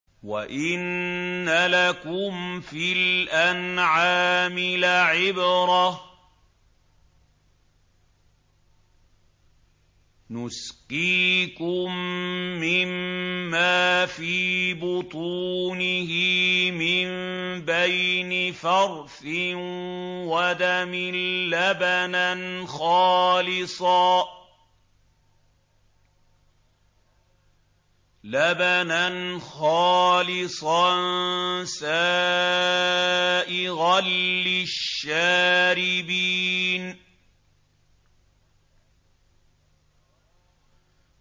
وَإِنَّ لَكُمْ فِي الْأَنْعَامِ لَعِبْرَةً ۖ نُّسْقِيكُم مِّمَّا فِي بُطُونِهِ مِن بَيْنِ فَرْثٍ وَدَمٍ لَّبَنًا خَالِصًا سَائِغًا لِّلشَّارِبِينَ